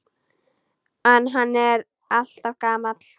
En hann er alltaf gamall.